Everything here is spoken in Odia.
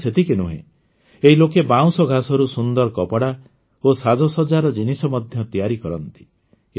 କେବଳ ସେତିକି ନୁହେଁ ଏହି ଲୋକେ ବାଉଁଶ ଘାସରୁ ସୁନ୍ଦର କପଡ଼ା ଓ ସାଜସଜ୍ଜାର ଜିନିଷ ମଧ୍ୟ ତିଆରି କରନ୍ତି